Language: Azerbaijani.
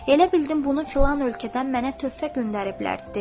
Elə bildim bunu filan ölkədən mənə töhfə göndəriblər, dedi.